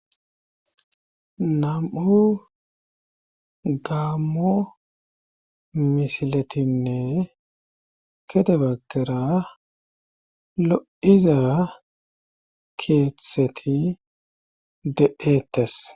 nam7u gammo misiletinne kede baggera lo7iza keeththeti deeettes